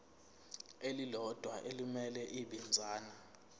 elilodwa elimele ibinzana